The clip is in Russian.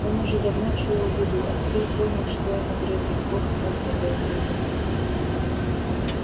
он уже давно чуял беду а теперь понял что ему грозит бог снова готовится к бегству